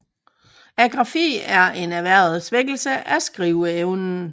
Agrafi er en erhvervet svækkelse af skriveevnen